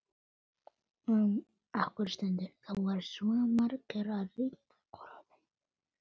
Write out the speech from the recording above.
Þín dóttir Anna María.